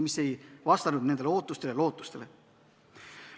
Need ei vastanud ootustele ja lootustele.